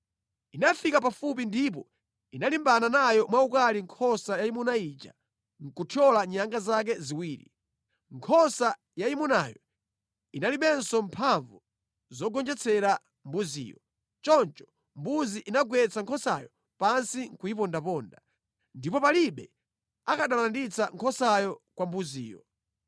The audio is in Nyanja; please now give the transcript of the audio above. Inafika pafupi ndipo inalimbana nayo mwaukali nkhosa yayimuna ija nʼkuthyola nyanga zake ziwiri. Nkhosa yayimunayo inalibenso mphamvu zogonjetsera mbuziyo; choncho mbuzi ija inagwetsa nkhosayo pansi nʼkuyipondaponda, ndipo palibe akanatha kulanditsa nkhosayo kwa mbuziyo.